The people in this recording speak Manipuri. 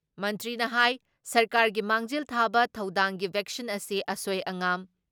ꯃꯟꯇ꯭ꯔꯤꯅ ꯍꯥꯏ ꯁꯔꯀꯥꯔꯒꯤ ꯃꯥꯡꯖꯤꯜ ꯊꯥꯕ ꯊꯧꯗꯥꯡꯗꯤ ꯚꯦꯛꯁꯤꯟ ꯑꯁꯤ ꯑꯁꯣꯏ ꯑꯉꯥꯝ